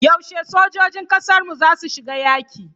Yaushe sojojin kasarmu zasu shiga yaki?